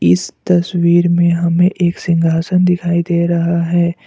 इस तस्वीर में हमें एक सिंहासन दिखाई दे रहा है।